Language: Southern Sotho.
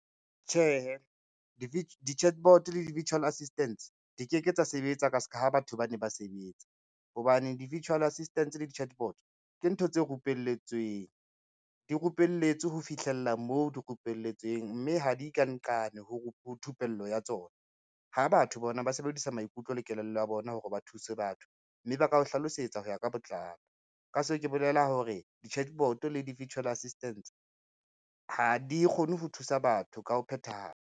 Tjhehe, di-chatbot le di-virtual assistance di ke ke tsa sebetsa ka ska ha batho ba ne ba sebetsa, hobane di-virtual assistance le di-chatbot ke ntho tse rupelletsweng. Di rupelletswe ho fihlella moo di rupelletsweng, mme ha di ka nqane ho thupello ya tsona, ha batho bona ba sebedisa maikutlo le kelello ya bona hore ba thuse batho, mme ba ka o hlalosetsa ho ya ka botlalo ka se, ke bolela hore di-chatbot le di-virtual assistance ha di kgone ho thusa batho ka ho phethahala.